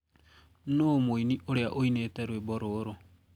nuu mũĩnĩ uria uinite rwĩmbo rũrũ